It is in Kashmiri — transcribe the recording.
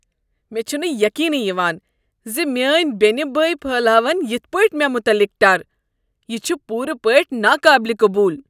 مےٚ چُھنہٕ یقینٕی یوان زِ میٲنۍ بینِہ بٲیۍ پھہلاون یِتھ پٲٹھۍ مےٚ متعلق ٹر ۔ یہ چھ پورٕ پٲٹھۍ ناقابل قبول۔